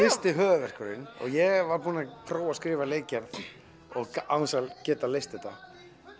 fyrsti höfuðverkurinn ég var búinn að prófa að skrifa leikgerð án þess að geta leyst þetta